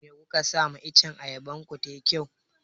Me kuka sa ma iccen ayaban ku tayi kyau?